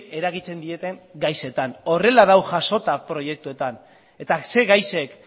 eragiten dieten gaietan horrela dago jasota proiektuetan eta ze gaiek